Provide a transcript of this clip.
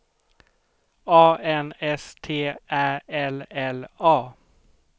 A N S T Ä L L A